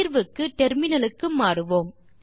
தீர்வுக்கு டெர்மினலுக்கு மாறுவோம்